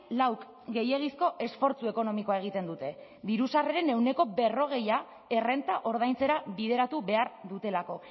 lauk gehiegizko esfortzu ekonomikoa egiten dute diru sarreren ehuneko berrogei errenta ordaintzera bideratu behar dutelako